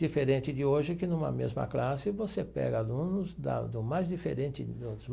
Diferente de hoje, que numa mesma classe, você pega alunos da do mais diferentes níveis.